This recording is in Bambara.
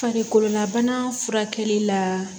Farikololabana furakɛli la